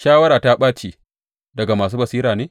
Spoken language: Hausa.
Shawara ta ɓace daga masu basira ne?